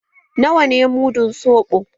Na wa ne mudun soɓo?